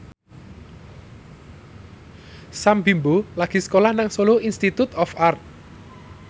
Sam Bimbo lagi sekolah nang Solo Institute of Art